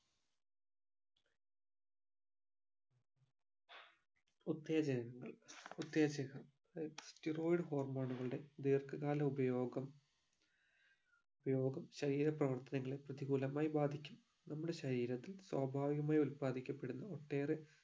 ഉത്തേജനങ്ങൾ ഉത്തേജക steroid hormone ഉകളുടെ ദീർഘകാല ഉപയോഗം ഉപയോഗം ശരീര പ്രവർത്തനങ്ങളെ പ്രതികൂലമായി ബാധിക്കും നമ്മുടെ ശരീരത്തിൽ സ്വാഭാവികമായി ഉല്പാദിക്കപ്പെടുന്ന ഒട്ടേറെ